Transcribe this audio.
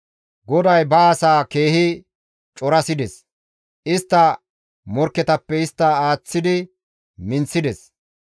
GODAY ba asaa keehi corasides; istta morkketappe istta aaththi minththides.